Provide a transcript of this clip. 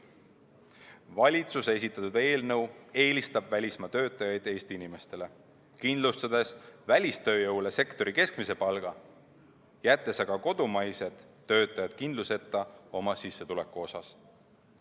Valitsuse esitatud eelnõu eelistab välismaa töötajaid Eesti inimestele, kindlustades välistööjõule sektori keskmise palga, jättes aga kodumaised töötajad kindluseta oma sissetuleku asjus.